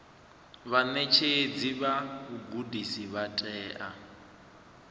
vhaṋetshedzi vha vhugudisi vha tea